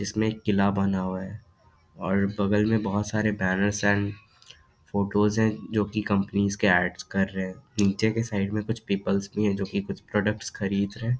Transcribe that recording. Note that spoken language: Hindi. इसमें एक किला बना हुआ है और बगल में बहोत सारे बैनर्स एंड फोटोज है जो की कंपनीज के एड्स कर रहे हैं नीचे के साइड कुछ पीपल्स है जो की कुछ प्रोडक्ट्स खरीद रहे।